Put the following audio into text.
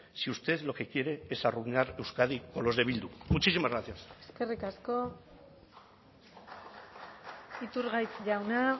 si usted lo que quiere es arruinar euskadi con los de bildu muchísimas gracias eskerrik asko iturgaiz jauna